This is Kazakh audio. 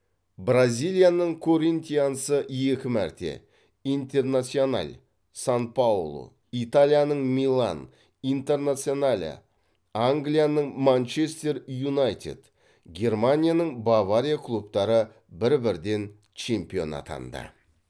бразилияның коринтиансы екі мәрте интернасьонал сан паулу италияның милан интернационале англияның манчестер юнайтед германияның бавария клубтары бір бірден чемпион атанды